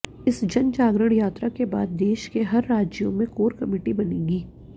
इस जनजागरण यात्रा के बाद देश के हर राज्यों में कोर कमेटी बनेगी